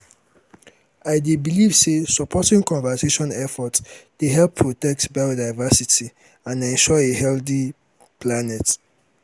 i dey believe say supporting conservation efforts dey help protect biodiversity and ensure a healthy planet.